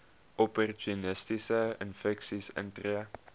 opportunistiese infeksies intree